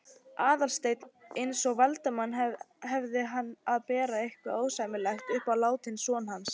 Aðalsteinn eins og Valdimar hefði verið að bera eitthvað ósæmilegt upp á látinn son hans.